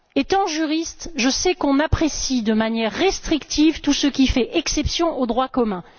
Étant juriste, je sais qu'on apprécie de manière restrictive tout ce qui fait exception au droit commun.